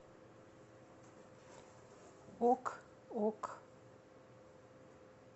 ок ок